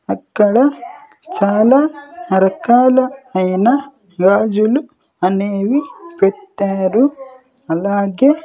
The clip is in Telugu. అక్కడ చాలా రకాల అయినా గాజులు అనేవి పెట్టారు అలాగే--